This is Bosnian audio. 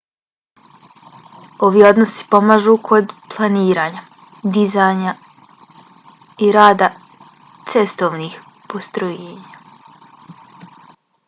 ovi odnosi pomažu kod planiranja dizajna i rada cestovnih postrojenja